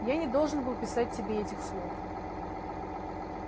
я не должен был писать тебе этих слов